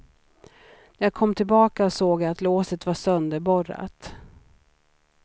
När jag kom tillbaka såg jag att låset var sönderborrat.